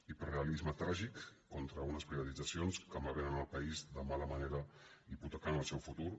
hiperrealisme tràgic contra unes privatitzacions que malvenen el país de mala manera i hipotequen el seu futur